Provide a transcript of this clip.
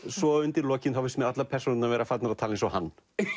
svo undir lokin finnst mér allar persónurnar vera farnar að tala eins og hann